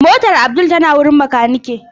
Motar Abdul tana wajen makanike.